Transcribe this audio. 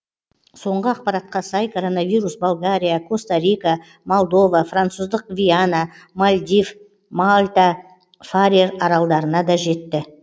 соңғы ақпаратқа сай коронавирус болгария коста рика молдова француздық гвиана мальдив мальта фарер аралдарына да жетті